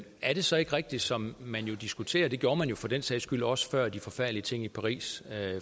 er det så ikke rigtigt som man diskuterer og det gjorde man for den sags skyld også før de forfærdelige ting i paris